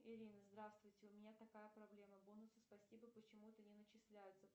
ирина здравствуйте у меня такая проблема бонусы спасибо почему то не начисляются